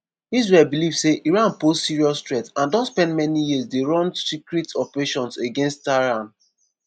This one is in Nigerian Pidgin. israel believe say iran pose serious threat and don spend many years dey run secret operations against tehran.